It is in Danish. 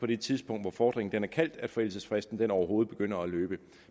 det tidspunkt hvor fordringen er indkaldt at forældelsesfristen overhovedet begynder at løbe